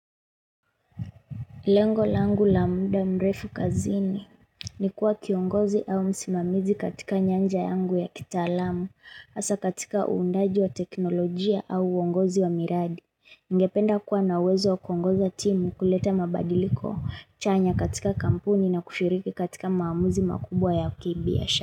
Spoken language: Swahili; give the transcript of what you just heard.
Lengo langu la muda mrefu kazini ni kuwa kiongozi au msimamizi katika nyanja yangu ya kitaalamu hasa katika uundaji wa teknolojia au uongozi wa miradi. Ningependa kuwa nawezo wa kuongoza timu kuleta mabadiliko chanya katika kampuni na kushiriki katika maamuzi makubwa ya kibi ya sha.